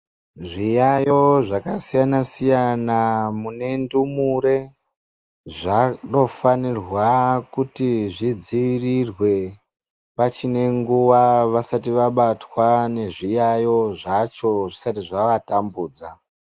Zviyayo zvakasiyana siyana mune ndumure zvanofanira kuti vadzivirirwe pachine nguwa vasati vabatwa nezviyayo zvacho zvisati zvavatambudza.